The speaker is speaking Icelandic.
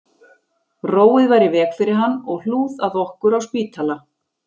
Róið var í veg fyrir hann og hlúð að okkur á spítala